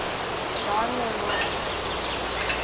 jean le rond